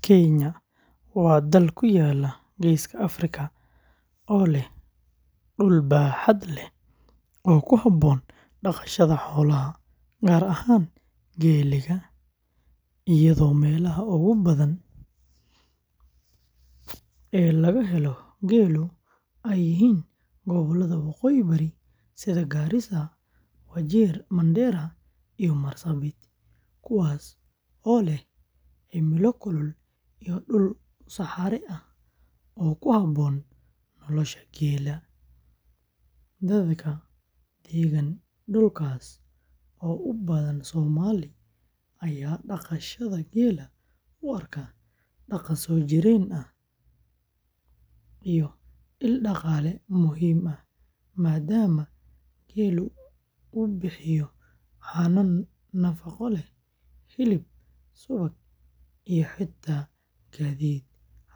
Kenya waa dal ku yaalla Geeska Afrika oo leh dhul baaxad leh oo ku habboon dhaqashada xoolaha, gaar ahaan geela, iyadoo meelaha ugu badan ee laga helo geelu ay yihiin gobollada waqooyi-bari sida Garissa, Wajir, Mandera, iyo Marsabit, kuwaas oo leh cimilo kulul iyo dhul saxare ah oo ku habboon nolosha geela; dadka deggan dhulkaas oo u badan Soomaali ayaa dhaqashada geela u arka dhaqan soo jireen ah iyo il dhaqaale muhiim ah, maadaama geelu bixiyo caano nafaqo leh, hilib, subag, iyo xitaa gaadiid,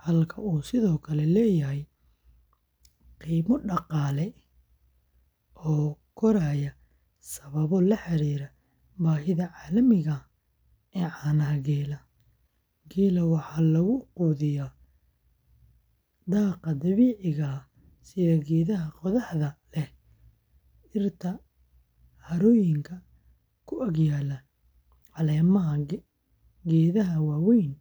halka uu sidoo kale leeyahay qiimo dhaqaale oo koraya sababo la xiriira baahida caalamiga ah ee caanaha geela; geela waxaa lagu quudiyaa daaqa dabiiciga ah sida geedaha qodaxda leh, dhirta harooyinka ku ag yaalla, caleemaha geedaha waaweyn.